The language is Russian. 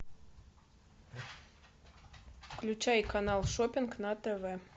включай канал шоппинг на тв